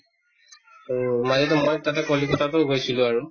তহ মাজতে মই তাতে কলিকতা টো গৈছিলো আৰু